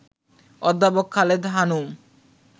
অধ্যাপক খালেদা হানুম